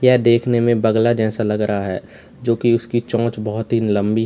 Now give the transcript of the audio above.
यह देखने में बगला जैसा लग रहा है जो की उसकी चोंच बहोत ही लंबी है।